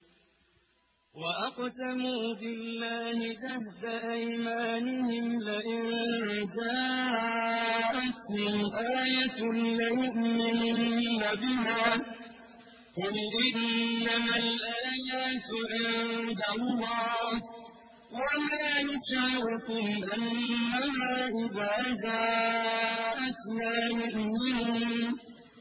وَأَقْسَمُوا بِاللَّهِ جَهْدَ أَيْمَانِهِمْ لَئِن جَاءَتْهُمْ آيَةٌ لَّيُؤْمِنُنَّ بِهَا ۚ قُلْ إِنَّمَا الْآيَاتُ عِندَ اللَّهِ ۖ وَمَا يُشْعِرُكُمْ أَنَّهَا إِذَا جَاءَتْ لَا يُؤْمِنُونَ